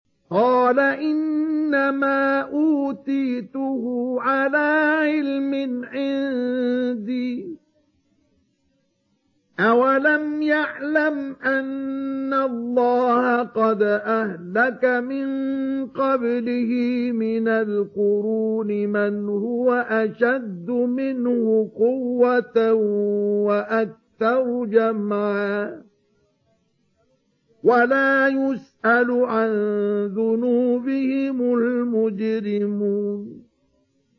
قَالَ إِنَّمَا أُوتِيتُهُ عَلَىٰ عِلْمٍ عِندِي ۚ أَوَلَمْ يَعْلَمْ أَنَّ اللَّهَ قَدْ أَهْلَكَ مِن قَبْلِهِ مِنَ الْقُرُونِ مَنْ هُوَ أَشَدُّ مِنْهُ قُوَّةً وَأَكْثَرُ جَمْعًا ۚ وَلَا يُسْأَلُ عَن ذُنُوبِهِمُ الْمُجْرِمُونَ